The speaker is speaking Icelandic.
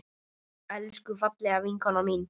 Elsku, fallega vinkona mín.